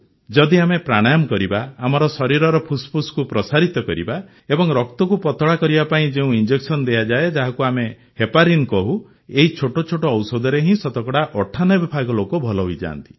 ଯଦି ଆମେ ପ୍ରାଣାୟାମ କରିବା ଆମର ଶରୀରର ଫୁସ୍ଫୁସ୍କୁ ପ୍ରସାରିତ କରିବା ଏବଂ ରକ୍ତକୁ ପତଳା କରିବା ପାଇଁ ଯେଉଁ ଇଞ୍ଜେକସନ ଦିଆଯାଇଥାଏ ଯାହାକୁ ଆମେ ହେପାରିନ୍ କହୁଁ ଏହି ଛୋଟ ଛୋଟ ଔଷଧରେ ହିଁ ଶତକଡ଼ା ୯୮ ଭାଗ ଲୋକେ ଭଲ ହୋଇଯାଆନ୍ତି